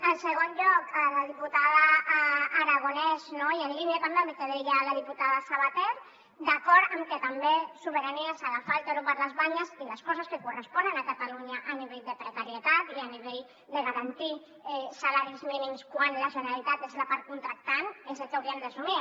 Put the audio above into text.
en segon lloc a la diputada aragonès i en línia també amb el que deia la diputada sabater d’acord amb que també sobirania és agafar el toro per les banyes i les coses que corresponen a catalunya a nivell de precarietat i a nivell de garantir salaris mínims quan la generalitat és la part contractant és el que hauríem d’assumir